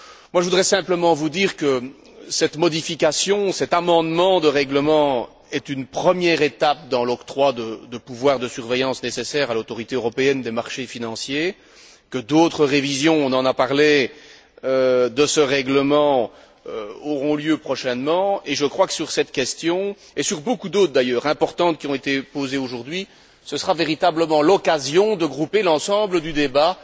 Je voudrais simplement vous dire que cette modification, cet amendement de règlement est une première étape dans l'octroi de pouvoirs de surveillance nécessaires à l'Autorité européenne des marchés financiers, que d'autres révisions on en a parlé de ce règlement auront lieu prochainement, et je crois que sur cette question, et sur beaucoup d'autres questions importantes, d'ailleurs, qui ont été posées aujourd'hui, ce sera véritablement l'occasion de grouper l'ensemble du débat